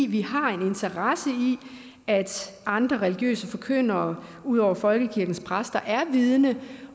vi har en interesse i at andre religiøse forkyndere ud over folkekirkens præster er vidende